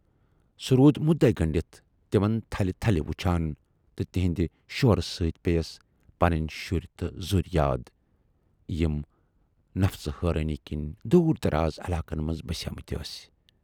سُہ روٗد مُدعے گٔنڈِتھ تِمن تھلہِ تھلہِ وُچھان تہٕ تِہٕندِ شورٕ سۭتۍ پییس پنٕنۍ شُرۍ تہٕ ذُرۍ یاد، یِم نفژٕ حٲرانی کِنۍ دوٗر دراز علاقن منز بسیمٕتۍ ٲسۍ۔